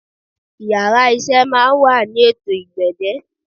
Íyarà iṣẹ máà ń wa ni étò ììgbẹ̀dẹ́